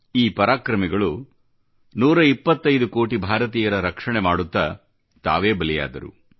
ಈ ಪರಾಕ್ರಮಿಗಳು 125 ಕೋಟಿ ಭಾರತೀಯರ ರಕ್ಷಣೆ ಮಾಡುತ್ತಾ ತಾವೇ ಬಲಿಯಾದರು